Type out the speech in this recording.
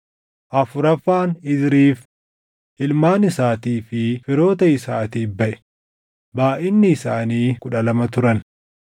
afuraffaan Izriif, // ilmaan isaatii fi firoota isaatiif baʼe; // baayʼinni isaanii kudha lama turan